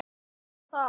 Mig hryllir við þessu.